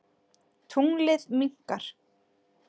Tunglið minnkar.